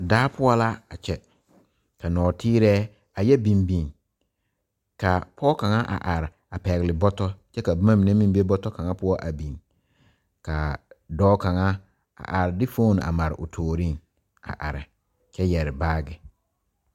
Daa poɔ la a kyɛ ka nɔɔteerɛɛ ayɛ biŋ biŋ ka pɔge kaŋa a are a pɛgle bɔtɔ kkyɛ ka boma mine meŋ a yɛ biŋ biŋ ka dɔɔ kaŋa a are de fone a mari o tooriŋ a are kyɛ yɛre baage.